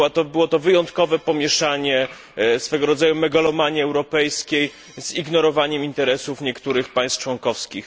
Było to wyjątkowe pomieszanie swego rodzaju megalomanii europejskiej z ignorowaniem interesów niektórych państw członkowskich.